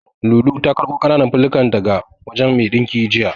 Lulu ta karɓo ƙananan fulallikan daga wajen mai ɗinkin jiya.